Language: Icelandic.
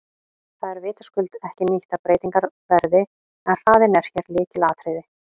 Það er vitaskuld ekki nýtt að breytingar verði en hraðinn er hér lykilatriði.